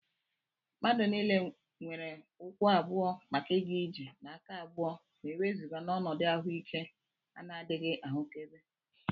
Mmadụ niile nwere ụkwụ abụọ maka ịga ije na aka abụọ ma e wezụga n'ọnọdụ ahụike ana-adịghị ahụkebe